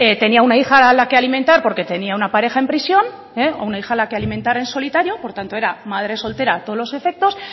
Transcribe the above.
tenía una hija a la que alimentar porque tenía una pareja en prisión o una hija a la que alimentar en solitario por lo tanto era madre soltera a todos los efectos